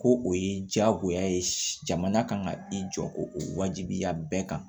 Ko o ye jagoya ye jamana kan ka i jɔ ko o wajibiya bɛɛ kan